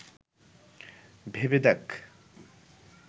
ভেবে দেখ